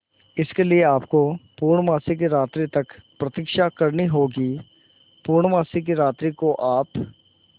इसके लिए आपको पूर्णमासी की रात्रि तक प्रतीक्षा करनी होगी पूर्णमासी की रात्रि को आप